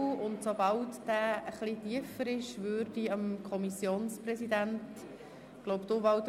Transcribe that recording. Sobald er etwas tiefer liegt, gebe ich dem Kommissionspräsidenten das Wort.